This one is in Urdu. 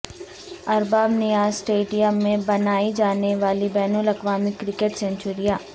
ارباب نیاز اسٹیڈیم میں بنائی جانے والی بین الاقوامی کرکٹ سنچریاں